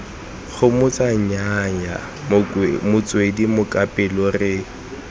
gomotsa nnyaya motswedi mokapelo re